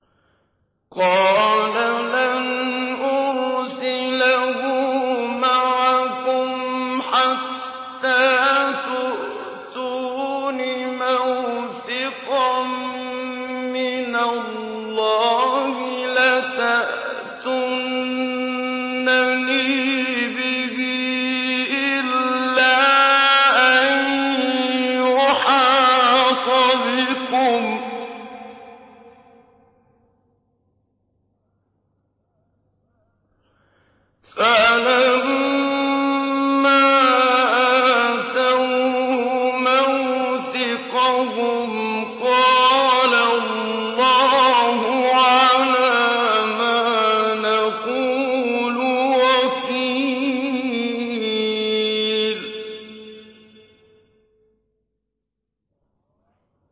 قَالَ لَنْ أُرْسِلَهُ مَعَكُمْ حَتَّىٰ تُؤْتُونِ مَوْثِقًا مِّنَ اللَّهِ لَتَأْتُنَّنِي بِهِ إِلَّا أَن يُحَاطَ بِكُمْ ۖ فَلَمَّا آتَوْهُ مَوْثِقَهُمْ قَالَ اللَّهُ عَلَىٰ مَا نَقُولُ وَكِيلٌ